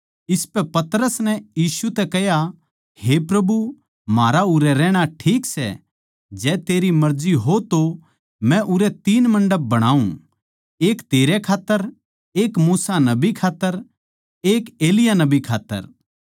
इसपै पतरस नै यीशु तै कह्या हे प्रभु म्हारा उरै रहणा ठीक सै जै तेरी मर्जी हो तो मै उरै तीन मण्डप बणाऊँ एक तेरै खात्तर एक मूसा नबी खात्तर एक एलिय्याह नबी खात्तर